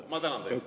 Ma tänan teid.